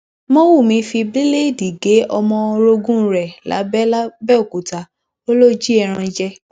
mowùmí fi bíléèdì gé ọmọ orogun ẹ lábẹ làbẹòkúta ó lọ jí ẹran jẹ